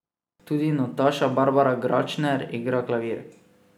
Tudi Nataša Barbara Gračner igra klavir.